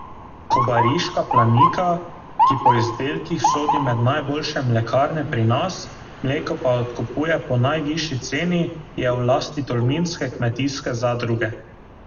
Kobariška Planika, ki po izdelkih sodi med najboljše mlekarne pri nas, mleko pa odkupuje po najvišji ceni, je v lasti tolminske kmetijske zadruge.